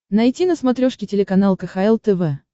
найти на смотрешке телеканал кхл тв